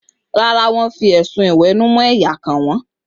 Rárá, wọ́n fi ẹ̀sùn ìwẹ̀nùmọ́ ẹ̀yà kàn wọ́n.